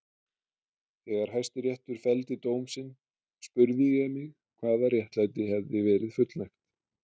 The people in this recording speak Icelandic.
Þegar Hæstiréttur felldi dóm sinn spurði ég mig hvaða réttlæti hefði verið fullnægt.